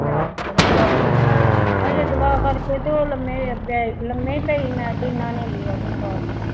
ਮੈਂ ਆਪ ਪੜ੍ਹਨ ਲੱਗ ਪਈ ਹਜੇ ਤੇ ਉਹ ਲੰਮੇ ਪੈ ਲੰਮੇ ਪਏ ਸੀ ਮੈਂ ਟੀਨਾ ਨੇ ਬੂਹਾ ਖੜਕਾ ਦਿੱਤਾ।